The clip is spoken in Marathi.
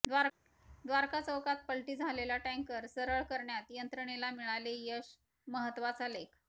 द्वारका चौकात पलटी झालेला टँकर सरळ करण्यात यंत्रणेला मिळाले यश महत्तवाचा लेख